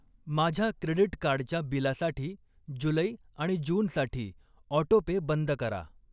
माझ्या क्रेडीट कार्डच्या बिलासाठी जुलै आणि जूनसाठी ऑटोपे बंद करा.